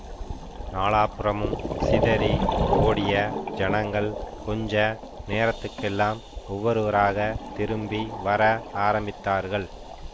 நாலாபுறமும் சிதறி ஓடிய ஜனங்கள் கொஞ்ச நேரத்துக்கெல்லாம் ஒவ்வொருவராகத் திரும்பி வர ஆரம்பித்தார்கள்